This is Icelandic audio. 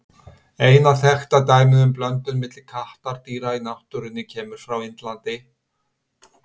Eina þekkta dæmið um blöndun milli kattardýra í náttúrunni kemur frá Indlandi.